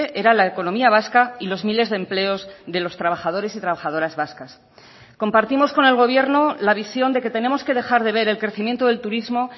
era la economía vasca y los miles de empleos de los trabajadores y trabajadoras vascas compartimos con el gobierno la visión de que tenemos que dejar de ver el crecimiento del turismo